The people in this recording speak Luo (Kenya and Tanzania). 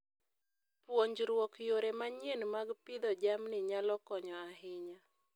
Puonjruok yore manyien mag pidho jamni nyalo konyo ahinya.